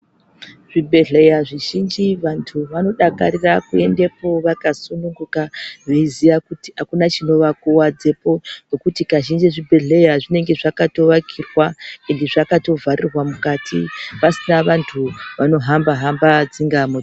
Zvibhedhlera zvizhinji vantu vanodakarira Kuendako vakasununguka veiziva kuti kunovakuvadzako ngekuti kazhinji kuzvibhedhlera pazvinenge zvakavakirwa ends zvakavharirwa mukati pasina antu ano hamba hamba.